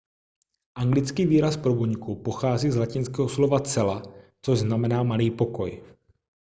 anglický výraz pro buňku pochází z latinského slova cella což znamená malý pokoj